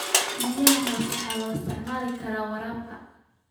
Biyaha hoose waxa loo isticmaali karaa waraabka.